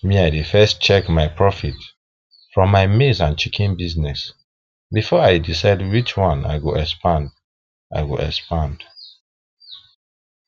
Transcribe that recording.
me i dey first check the profit from my maize and chicken business before i decide which one i go expand i go expand